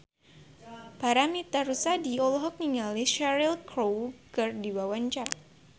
Paramitha Rusady olohok ningali Cheryl Crow keur diwawancara